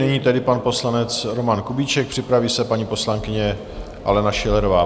Nyní tedy pan poslanec Roman Kubíček, připraví se paní poslankyně Alena Schillerová.